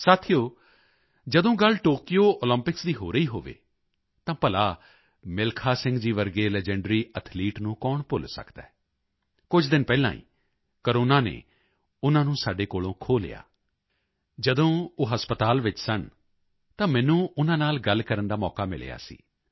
ਸਾਥੀਓ ਜਦੋਂ ਗੱਲ ਟੋਕਯੋ ਓਲੰਪਿਕਸ ਦੀ ਹੋ ਰਹੀ ਹੋਵੇ ਤਾਂ ਭਲਾ ਮਿਲਖਾ ਸਿੰਘ ਜੀ ਵਰਗੇ ਲੀਜੈਂਡਰੀ ਐਥਲੀਟ ਨੂੰ ਕੌਣ ਭੁੱਲ ਸਕਦਾ ਹੈ ਕੁਝ ਦਿਨ ਪਹਿਲਾਂ ਹੀ ਕੋਰੋਨਾ ਨੇ ਉਨ੍ਹਾਂ ਨੂੰ ਸਾਡੇ ਕੋਲੋਂ ਖੋਹ ਲਿਆ ਜਦੋਂ ਉਹ ਹਸਪਤਾਲ ਵਿੱਚ ਸਨ ਤਾਂ ਮੈਨੂੰ ਉਨ੍ਹਾਂ ਨਾਲ ਗੱਲ ਕਰਨ ਦਾ ਮੌਕਾ ਮਿਲਿਆ ਸੀ